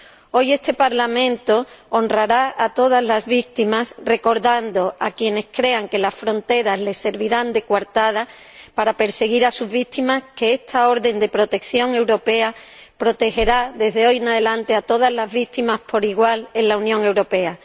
Hoy este Parlamento honrará a todas las víctimas, recordando a quienes crean que las fronteras les servirán de coartada para perseguir a sus víctimas que esta orden de protección europea protegerá, desde hoy en adelante, a todas las víctimas por igual en la Unión Europea.